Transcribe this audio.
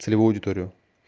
целевую аудиторию